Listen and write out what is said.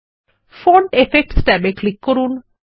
font effects tab এ click করুন